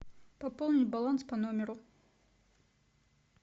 пополнить баланс по номеру